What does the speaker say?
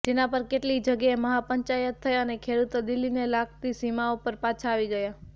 જેના પર કેટલીય જગ્યાએ મહાપંચાયત થઈ અને ખેડૂતો દિલ્હીને લાગતી સીમાઓ પર પાછા આવી ગયા